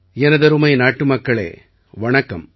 எனதருமை நாட்டுமக்களே வணக்கம்